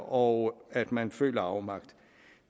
og at man føler afmagt